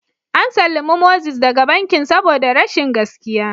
An sallami Moses daga bankin saboda rashin gaskiya?